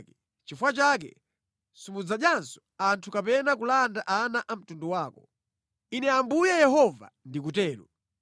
nʼchifukwa chake, simudzadyanso anthu kapena kulanda ana a mtundu wako. Ine Ambuye Yehova ndikutero.